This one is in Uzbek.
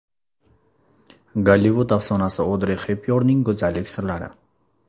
Gollivud afsonasi Odri Xepbyornning go‘zallik sirlari.